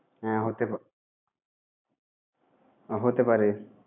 হ্যাঁ! হতে পা~ হতে পারে।